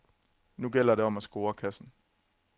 Nu gælder det om at score kassen.